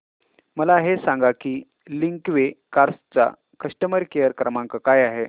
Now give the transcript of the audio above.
मला हे सांग की लिंकवे कार्स चा कस्टमर केअर क्रमांक काय आहे